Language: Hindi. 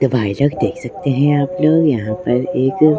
तो भाई लोग देख सकते हैं आप लोग यहां पर एक--